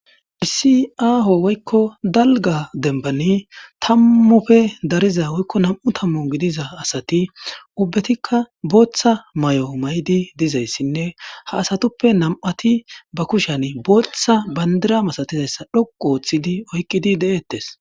Dhisiaaho woykko dalga dembani tammufe dariza woykko nam7u tammu gidiza asati ubbetikka booththa may7o maydi dizayssinne ha asatuppe nam7ati ba kushan booththa bandira masatizayssa dhoqu ooththidi oykqidi de7ettes